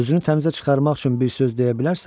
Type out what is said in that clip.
Özünü təmizə çıxarmaq üçün bir söz deyə bilərsənmi?